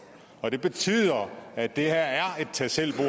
og det betyder at det her er et tag selv